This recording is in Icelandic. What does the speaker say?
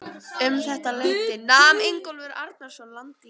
Um þetta leyti nam Ingólfur Arnarson land í